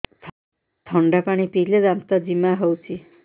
ଥଣ୍ଡା ପାଣି ପିଇଲେ ଦାନ୍ତ ଜିମା ହଉଚି